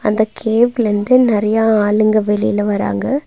அந்த கேவ்ல இருந்து நறையா ஆளுங்க வெளில வராங்க.